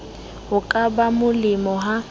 ho ka ba molemo ha